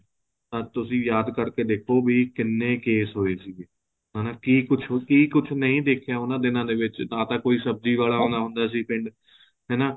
ਤਦ ਤੁਸੀਂ ਯਾਦ ਕਰਕੇ ਦੇਖੋ ਵੀ ਕਿੰਨੇ case ਹੋਏ ਸੀਗੇ ਹੈਨਾ ਕੀ ਕੁੱਝ ਨਹੀਂ ਦੇਖਿਆ ਉਹਨਾ ਦਿਨਾ ਦੇ ਵਿੱਚ ਨਾ ਤਾਂ ਕੋਈ ਸਬਜ਼ੀ ਵਾਲਾ ਆਂਦਾ ਹੁੰਦਾ ਸੀ ਪਿੰਡ ਹਨਾ